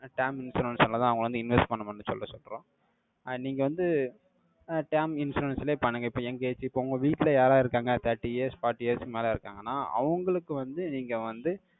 term insurance ஆல தான் அவங்க வந்து invest பண்ணணும்னு சொல்ல, சொல்றோம். அஹ் நீங்க வந்து, அஹ் term insurance லயே பண்ணுங்க. இப்ப, young age, இப்ப, உங்க வீட்டுல, யார், யார் இருக்காங்க? Thirty years forty years க்கு மேல, இருக்காங்கன்னா, அவங்களுக்கு வந்து, நீங்க வந்து,